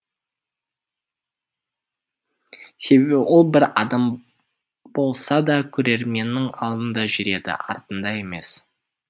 себебі ол бір адым болса да көрерменнің алдында жүреді артында емес